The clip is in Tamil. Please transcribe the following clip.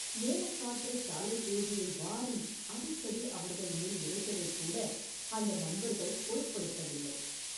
மேலக்காற்று சாலைப் புழுதியை வாரி அடிக்கடி அவர்கள் மேல் இறைத்ததைக் கூட அந்த நண்பர்கள் பொருட்படுத்தவில்லை.